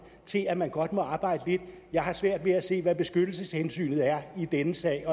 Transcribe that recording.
til at man godt må arbejde lidt jeg har svært ved at se hvad beskyttelseshensynet er i denne sag